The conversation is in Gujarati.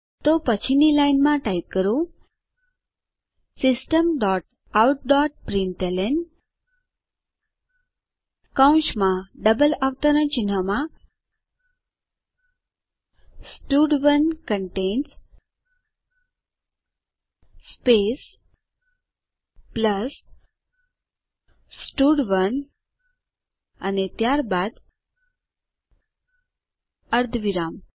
તો પછીની લાઈનમાં ટાઈપ કરો system dot out dot println કૌંસમાં બે અવતરણમાં સ્ટડ1 કન્ટેન્સ સ્પેસ પ્લસ સ્ટડ1 અને ત્યારબાદ અર્ધવિરામ